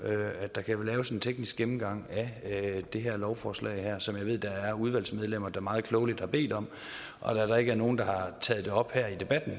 at der laves en teknisk gennemgang af det her lovforslag som jeg ved at der er udvalgsmedlemmer der meget klogeligt har bedt om og da der ikke er nogen der har taget det op her i debatten